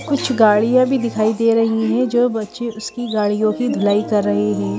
कुछ गाड़ियां भी दिखाई दे रही हैं जो बच्चे उसकी गाड़ियों की धुलाई कर रहे हैं।